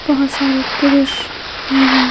बहोत सारे पुरुष भी हैं।